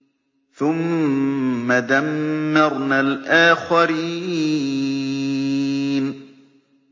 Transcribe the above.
ثُمَّ دَمَّرْنَا الْآخَرِينَ